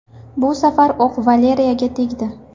Bu safar o‘q Valeriga tegdi.